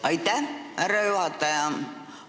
Aitäh, härra juhataja!